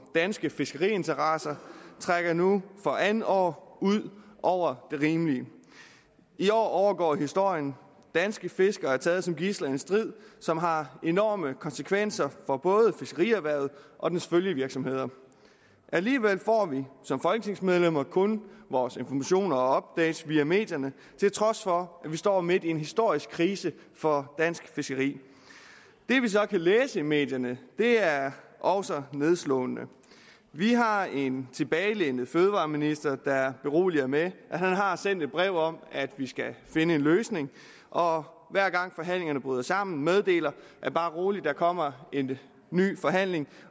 danske fiskeriinteresser trækker nu for andet år ud over det rimelige i år overgår historien om danske fiskere der er taget som gidsler en strid som har enorme konsekvenser for både fiskerierhvervet og dets følgevirksomheder alligevel får vi som folketingsmedlemmer kun vores informationer og updates via medierne til trods for at vi står midt i en historisk krise for dansk fiskeri det vi så kan læse i medierne er også nedslående vi har en tilbagelænet fødevareminister der beroliger med at han har sendt et brev om at vi skal finde en løsning og hver gang forhandlingerne bryder sammen meddeler han bare rolig der kommer en ny forhandling